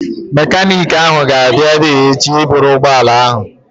Mekaniiki ahụ ga-abịa ebea echi ịbụrụ ụgbọala ahụ